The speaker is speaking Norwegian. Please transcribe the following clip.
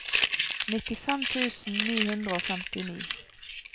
nittifem tusen ni hundre og femtini